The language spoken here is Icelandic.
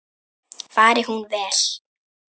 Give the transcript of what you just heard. Fari hún vel.